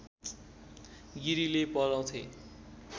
गिरीले पढाउँथे